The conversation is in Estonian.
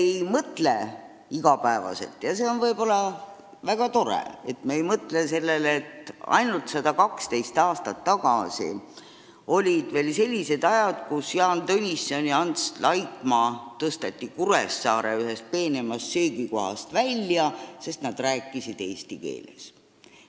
Me ei mõtle iga päev – ja see on võib-olla väga tore, et ei mõtle – sellele, et ainult 112 aastat tagasi olid veel sellised ajad, kui Jaan Tõnisson ja Ants Laikmaa tõsteti Kuressaares ühest peenemast söögikohast välja, sest nad rääkisid eesti keeles.